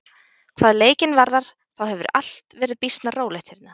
Hvað leikinn varðar, þá hefur allt verið býsna rólegt hérna.